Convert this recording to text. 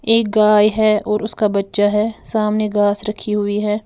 एक गाय हैं और उसका बच्चा है सामने घास रखी हुई है।